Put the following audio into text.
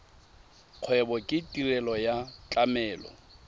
kgwebo ke tirelo ya tlamelo